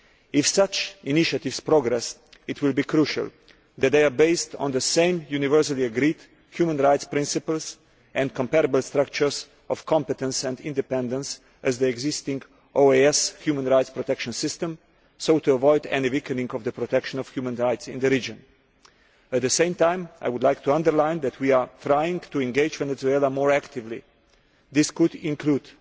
If such initiatives progress, it will be crucial that they are based on the same universally agreed human rights principles and comparable structures of competence and independence to the existing OAS human rights protection system, so as to avoid any weakening of the protection of human rights in the region. At the same time I would like to underline that we are trying to engage Venezuela more actively. This could include